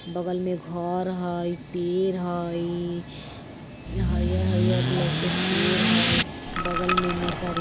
बगल में घर हई पेर हई हरिहर - हरिहर लौके पेर हई बगल में --